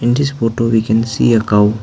in this photo we can see a cow.